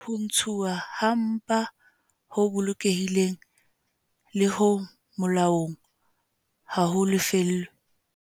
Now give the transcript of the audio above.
Ho ntshuwa ha mpa ho bolokehileng le ho molaong ha ho lefellwe